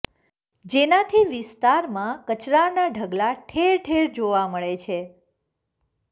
જેનાથી વિસ્તારમાં કચરાના ઢગલા ઠેર ઠેર જોવા મળે છે